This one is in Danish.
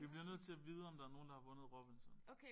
Vi bliver nødt til at vide om der nogen der har vundet Robinson